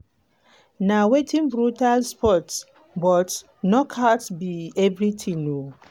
na um brutal sport but knockouts be everything.